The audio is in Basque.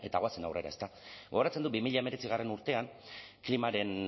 goazen aurrera ezta gogoratzen dut bi mila hemeretzi urtean klima